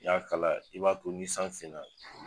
I y'a k'a la i b'a to ni san finna